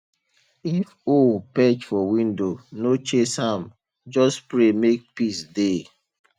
if owl perch for window no chase am just pray make peace dey